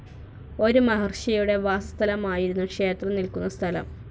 ഒരു മഹർഷിയുടെ വാസസ്ഥലമായിരുന്നു, ക്ഷേത്രം നിൽക്കുന്ന സ്ഥലം.